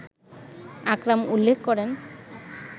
আকরাম উল্লেখ করেন